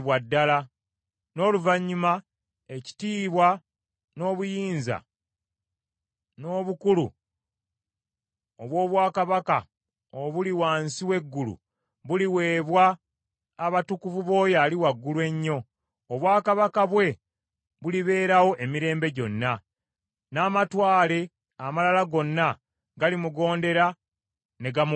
N’oluvannyuma ekitiibwa, n’obuyinza n’obukulu obw’obwakabaka obuli wansi w’eggulu, buliweebwa abatukuvu b’Oyo Ali Waggulu Ennyo. Obwakabaka bwe bulibeerawo emirembe gyonna, n’amatwale amalala gonna galimugondera ne gamuweereza.’